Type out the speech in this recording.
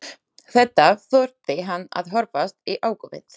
Þetta þurfti hann að horfast í augu við.